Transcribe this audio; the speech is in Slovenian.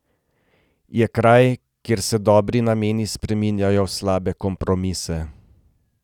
Je kraj, kjer se dobri nameni spreminjajo v slabe kompromise.